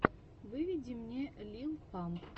выведи мне лил памп